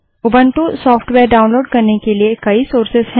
Ubuntu software download करने के लिए कई सोर्सेस हैं